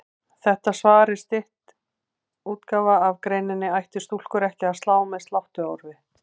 Þetta svar er stytt útgáfa af greininni Ættu stúlkur ekki að slá með sláttuorfi?